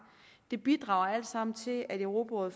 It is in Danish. det bidrager alt sammen til at europarådet